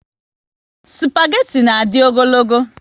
Spageti na adi ogologo